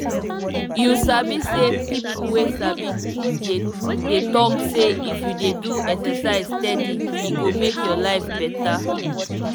you sabi sey people wey sabi dey dey talk say if you dey do exercise steady e go make your life better.